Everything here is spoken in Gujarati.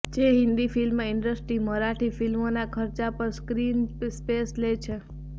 જો હિન્દી ફિલ્મ ઈન્ડસ્ટ્રી મરાઠી ફિલ્મોના ખર્ચા પર સ્ક્રીન સ્પેસ લે છે